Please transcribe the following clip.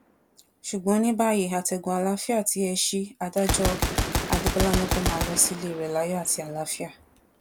ṣùgbọn ní báyìí àtẹgùn àlàáfíà tí ẹ ṣí i adájọ adébólà ni kó máa lọ sílé rẹ láyọ àti àlàáfíà